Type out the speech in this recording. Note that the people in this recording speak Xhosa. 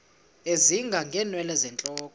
ezinga ngeenwele zentloko